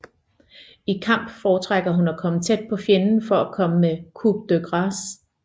I kamp fortrækker hun at komme tæt på fjenden for at komme med coup de grâce